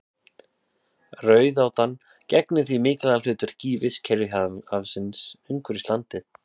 Rauðátan gegnir því mikilvægu hlutverki í vistkerfi hafsins umhverfis landið.